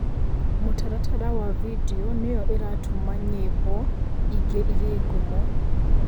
Mũtaratara wa video nĩyoĩratũma nyimbo ingĩ igĩe ngumo?